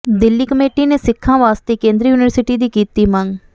Delhi committee ਨੇ ਸਿੱਖਾਂ ਵਾਸਤੇ ਕੇਂਦਰੀ ਯੂਨਿਵਰਸਿਟੀ ਦੀ ਕੀਤੀ ਮੰਗ